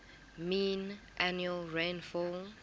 mean annual rainfall